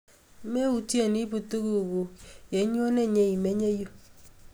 Meutye iipun tuguk kuk ye inyone nyeimenye yu